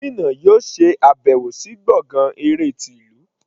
Gómìnà yóò ṣe àbẹ̀wọ̀ sí gbọ̀ngán eré ti ìlú.